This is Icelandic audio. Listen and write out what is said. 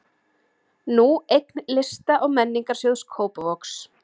Nú eign Lista- og menningarsjóðs Kópavogs.